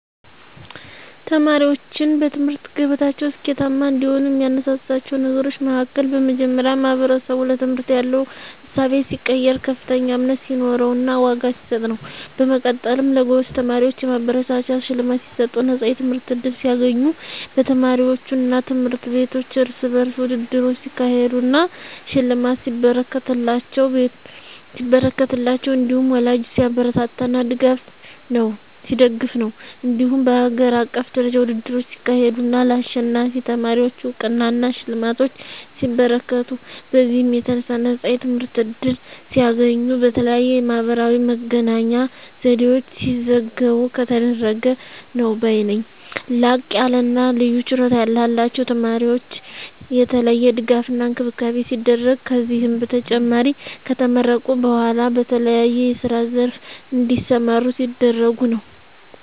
ተማሪዎችን በትምህርት ገበታቸው ስኬታማ እንዲሆኑ የሚያነሳሳቸው ነገሮች መሀከል በመጀመሪያ ማህበረሰቡ ለትምህርት ያለው እሳቤ ሲቀየር፥ ከፍተኛ እምነት ሲኖረውና ዋጋ ሲሰጥ ነው። በመቀጠልም ለጎበዝ ተማሪዎች የማበረታቻ ሽልማት ሲሰጡ፣ ነፃ የትምህርት ዕድል ሲያገኙ፣ በተማሪዎቹ አና ትምህርት ቤቶች የርስ በርስ ውድድሮች ሲያካሄዱ አና ሽልማት ሲበረከትላቸው እንዲሁም ወላጂ ሲያበረታታና ሲደግፍ ነው። እንዲሁም በሀገር አቀፍ ደረጃ ውድድሮች ሲካሄዱ አና ለአሸናፊ ተማሪወች አውቅናና ሽልማቶች ሲበረከቱ፤ በዚህም የተነሣ ነፃ የትምህርት ዕድል ሲያገኙ፣ በተለያየ የማህበራዊ መገናኛ ዘዴወች ሲዘገቡ ከተደረገ ነው ባይ ነኝ። ላቅያለና ልዩ ችሎታ ላላቸው ተማሪወች የተለየ ድጋፍና እንክብካቤ ሲደረግ፤ ከዚህም በተጨማሪ ከተመረቁ በኋላ በተለያዬ የስራ ዘርፎች እንዲሰማሩ ሲደረጉ ነው።